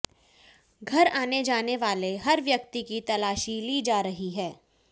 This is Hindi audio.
घर आने जाने वाले हर व्यक्ति की तलाशी ली जा रही है